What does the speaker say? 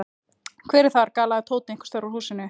Hver er þar? galaði Tóti einhvers staðar úr húsinu.